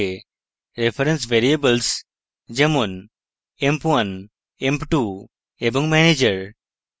reference variables যেমন emp1 emp2 এবং manager